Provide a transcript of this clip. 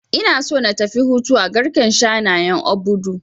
Ina so na tafi hutu a garken shanayen Obudu